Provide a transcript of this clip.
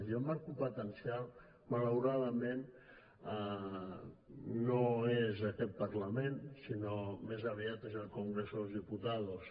i el marc competencial malauradament no és aquest parlament sinó que més aviat és el congreso de los diputados